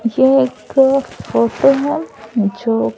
ये एक फोटो हैं जो--